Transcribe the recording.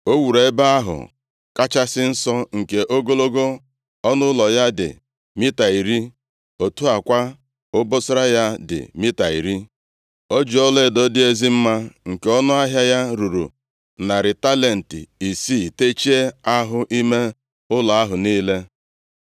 O wuru Ebe ahụ Kachasị Nsọ; nke ogologo ọnụ ụlọ ya dị mita iri, otu a kwa, obosara ya dị mita iri. O ji ọlaedo dị ezi mma nke ọnụahịa ya ruru narị talenti isii techie ahụ ime ụlọ ahụ niile.